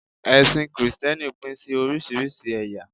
ẹsìn Kristẹni Pin sí orísirísi eya